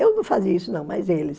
Eu não fazia isso não, mas eles.